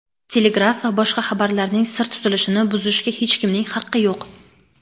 telegraf va boshqa xabarlarning sir tutilishini buzishga hech kimning haqqi yo‘q.